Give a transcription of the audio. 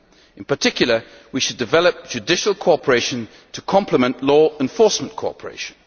In particular we should develop judicial cooperation to complement law enforcement cooperation.